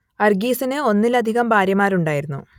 അർഗീസിന് ഒന്നിലധികം ഭാര്യമാരുണ്ടായിരുന്നു